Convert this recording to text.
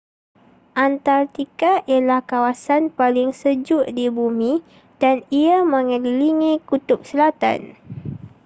antartika ialah kawasan paling sejuk di bumi dan ia megelilingi kutub selatan